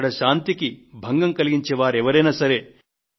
అక్కడ శాంతికి భంగం కలిగించే వారు ఎవరైనా సరే